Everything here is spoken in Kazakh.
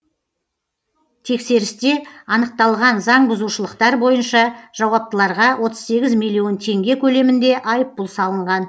тексерісте анықталған заңбұзушылықтар бойынша жауаптыларға отыз сегіз миллион теңге көлемінде айыппұл салынған